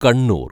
Kannur‍